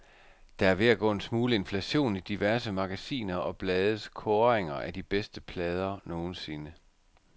Der er ved at gå en smule inflation i diverse magasiner og blades kåringer af de bedste plader nogensinde.